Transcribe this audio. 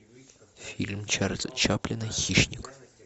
фильм чарльза чаплина хищник